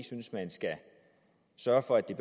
synes at man skal sørge for at det